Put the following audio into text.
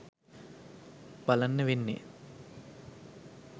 බලන්න වෙන්නේ.